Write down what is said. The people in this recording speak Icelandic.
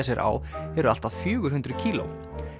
sér á eru allt að fjögur hundruð kíló